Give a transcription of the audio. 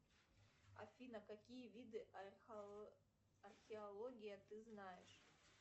афина какие виды археологии ты знаешь